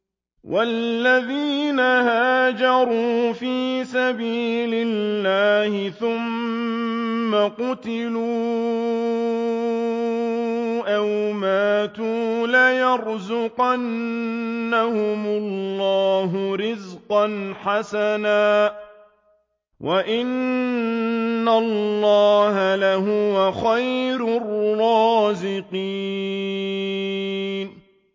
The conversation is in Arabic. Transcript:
وَالَّذِينَ هَاجَرُوا فِي سَبِيلِ اللَّهِ ثُمَّ قُتِلُوا أَوْ مَاتُوا لَيَرْزُقَنَّهُمُ اللَّهُ رِزْقًا حَسَنًا ۚ وَإِنَّ اللَّهَ لَهُوَ خَيْرُ الرَّازِقِينَ